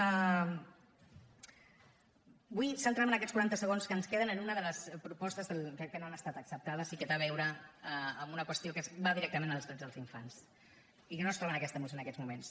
vull centrar me en aquests quaranta segons que ens queden en una de les propostes que no han estat acceptades i que té a veure amb una qüestió que va directament als drets dels infants i que no es troba en aquesta moció en aquests moments